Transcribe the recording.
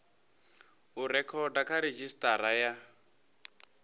u rekhoda kha redzhisitara ya